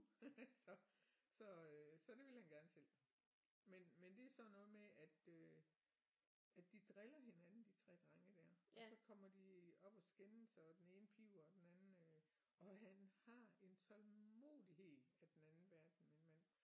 Så så øh så det ville han gerne selv men men det er sådan noget med at øh at de driller hinanden de 3 drenge der og så kommer de op at skændes og den ene piber og den anden øh og han har en tålmodighed af den anden verden min mand